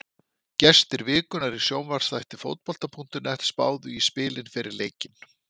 Gestir vikunnar í sjónvarpsþætti Fótbolta.net spáðu í spilin fyrir leikinn.